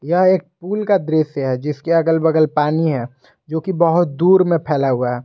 यह एक पुल का दृश्य है जिसके अगल बगल पानी है जो कि बहुत दूर में फैला हुआ है।